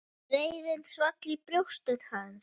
Reiðin svall í brjósti hans.